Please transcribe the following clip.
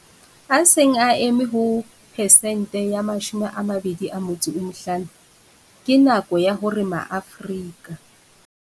A seng a eme ho pesente ya 25, ke nako ya hore maAfrika.